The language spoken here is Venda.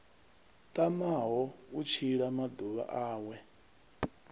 tamaho u tshila maḓuvha awe